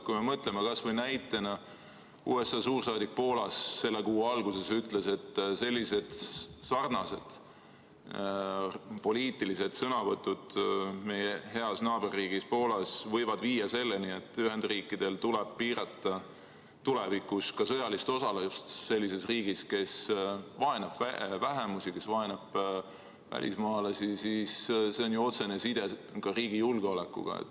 Kui me mõtleme kas või näitena, et USA suursaadik Poolas selle kuu alguses ütles, et sarnased poliitilised sõnavõtud meie heas naaberriigis Poolas võivad viia selleni, et Ühendriikidel tuleb piirata tulevikus ka sõjalist osalust sellises riigis, kes vaenab vähemusi, kes vaenab välismaalasi, siis siin on ju otsene side ka riigi julgeolekuga.